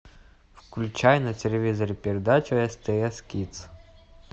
включай на телевизоре передачу стс кидс